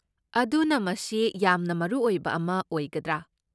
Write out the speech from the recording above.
ꯑꯗꯨꯅ ꯃꯁꯤ ꯌꯥꯝꯅ ꯃꯔꯨ ꯑꯣꯏꯕ ꯑꯃ ꯑꯣꯏꯒꯗ꯭ꯔꯥ?